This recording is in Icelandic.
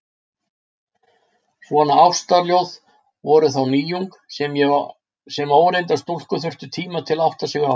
Svona ástarljóð voru þá nýjung, sem óreyndar stúlkur þurftu tíma til að átta sig á.